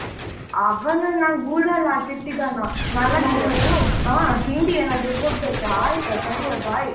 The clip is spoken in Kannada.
ಅವನ್ನ ನಾನ್ ಗೂಡಾಲ್ ಹಾಕಿ ಇಟ್ಟಿದ್ದಾನಾ ಹ ತಿಂಡಿ ಏನಾದ್ರು ಕೊಡ್ಬೇಕಾ ಆಯ್ತಾ ಸರಿಯಾ Bye